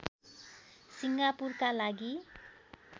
सिङ्गापुरका लागि